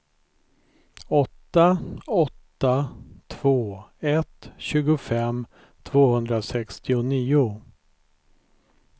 åtta åtta två ett tjugofem tvåhundrasextionio